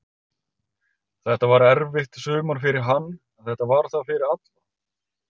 Þetta var erfitt sumar fyrir hann, en þetta var það fyrir alla.